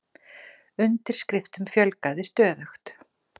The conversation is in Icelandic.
Undirskriftunum fjölgaði stöðugt